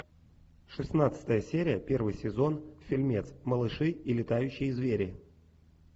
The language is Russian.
шестнадцатая серия первый сезон фильмец малыши и летающие звери